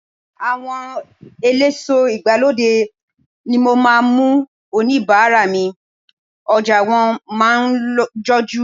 Àwọn eléso ìgbàlódé ni mo máa ń mú oníbàárà mi, ọjà wọn máa ń jojú.